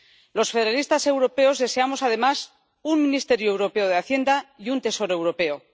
Los federalistas europeos deseamos además un ministerio europeo de Hacienda y un Tesoro europeo.